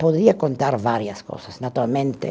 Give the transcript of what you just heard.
Podia contar várias coisas, naturalmente.